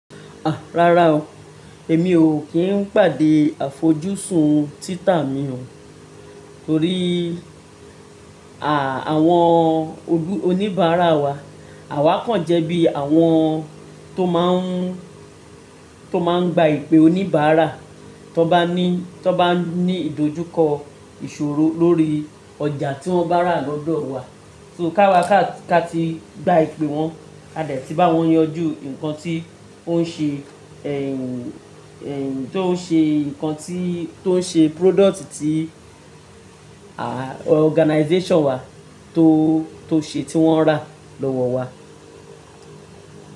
Rárá o, èmi ò kí ń pàdé àfojúsùn tita mi o torí à, àwọn oníbàárà wa. Àwa kan jẹ́ bí àwọn tó máa ń, tó máa ń gba ìpe oníbàárà tó bá ní, tó bá ní ìdojúkọ ìṣòro lórí ọjà tí wọ́n bá rà lọ́dọ̀ wa. So ká wa ká ti gba ìpè wọn, ka dè tí bá wọn yanjú nǹkan tí ó ń ṣe, ẹ̀, ẹ̀, tó ń ṣe nǹkan tí, tó ń ṣe product tí à, organization wa tó, tó ṣe tí wọ́n rà lọ́wọ́ wa.